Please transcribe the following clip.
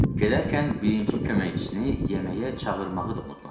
Gedərkən birinci köməkçisini yeməyə çağırmağı da unutmadı.